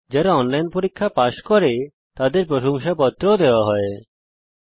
যারা অনলাইন পরীক্ষা পাস করে তাদের প্রশংসাপত্র সার্টিফিকেটও দেওয়া হয়